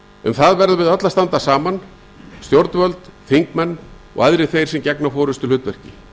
um það verðum við öll að standa saman stjórnvöld þingmenn og aðrir þeir sem gegna forustuhlutverki